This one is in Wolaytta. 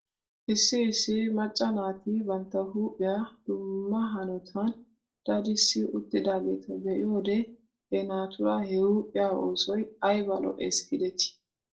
Issi issi macca naati bantta huuphphiyaa dumma hanotan dadissi uttidaageeta be'iyoode he naatuura he huuphphiyaa oosoy ayba lo'es giidetii .